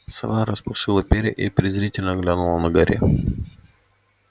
сова распушила перья и презрительно глянула на гарри